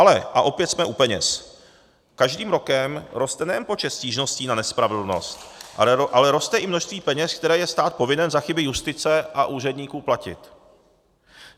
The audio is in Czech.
Ale, a opět jsme u peněz, každým rokem roste nejen počet stížností na nespravedlnost, ale roste i množství peněz, které je stát povinen za chyby justice a úředníků platit.